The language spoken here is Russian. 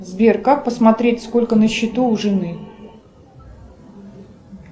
сбер как посмотреть сколько на счету у жены